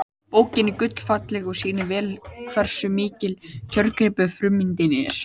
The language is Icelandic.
Bókin er gullfalleg og sýnir vel hversu mikill kjörgripur frummyndin er.